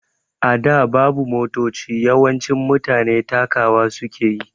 A da babu Motoci, yawancin mutane takawa suke yi